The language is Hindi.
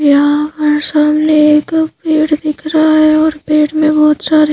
यहां पर सामने एक पेड़ दिख रहा है और पेड़ में बहुत सारे--